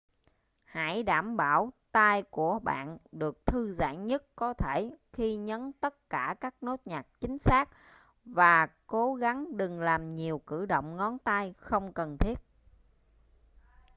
hãy đảm bảo tay của bạn được thư giãn nhất có thể khi nhấn tất cả các nốt nhạc chính xác và cố gắng đừng làm nhiều cử động ngón tay không cần thiết